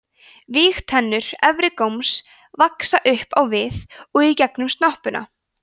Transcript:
vígtennur efri góms vaxa upp á við og í gegnum snoppuna